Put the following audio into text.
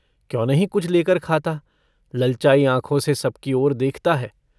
क्यों नहीं कुछ लेकर खाता ललचायी आँखों से सबकी ओर देखता है।